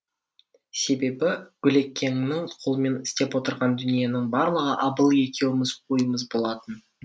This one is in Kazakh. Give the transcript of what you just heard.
себебі гүлекеңнің қолымен істеп отырған дүниенің барлығы абыл екеуміз ойымыз болатын